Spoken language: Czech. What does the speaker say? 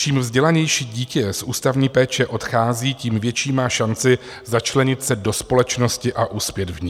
Čím vzdělanější dítě z ústavní péče odchází, tím větší má šanci začlenit se do společnosti a uspět v ní.